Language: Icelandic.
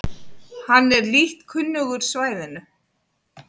Hann er lítt kunnugur svæðinu